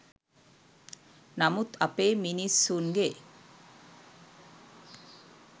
නමුත් අපේ මිස්සුන්ගෙ